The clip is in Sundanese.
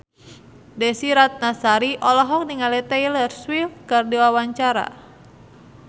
Desy Ratnasari olohok ningali Taylor Swift keur diwawancara